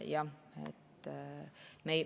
Jah.